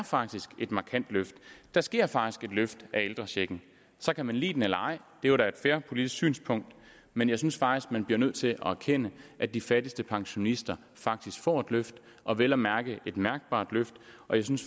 faktisk et markant løft der sker faktisk et løft af ældrechecken så kan man lide det eller ej det er jo da et fair politisk synspunkt men jeg synes faktisk man bliver nødt til at erkende at de fattigste pensionister faktisk får et løft og vel at mærke et mærkbart løft og jeg synes